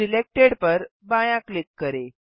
selected पर बायाँ click करें